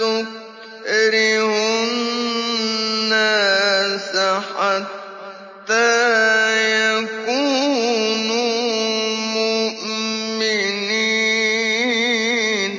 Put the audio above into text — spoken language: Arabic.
تُكْرِهُ النَّاسَ حَتَّىٰ يَكُونُوا مُؤْمِنِينَ